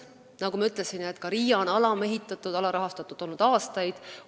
Nagu ma ütlesin, ka RIA on olnud aastaid alamehitatud, alarahastatud.